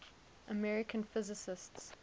american physicists